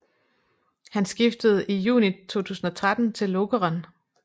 Han skiftede i juni 2013 til Lokeren